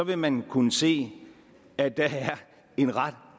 vil man kunne se at der er en ret